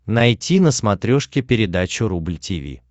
найти на смотрешке передачу рубль ти ви